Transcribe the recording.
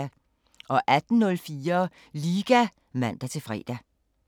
18:04: Liga (man-fre)